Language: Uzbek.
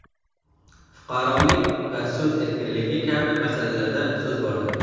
fuqarolik va so‘z erkinligi kabi masalalarda so‘z bordi.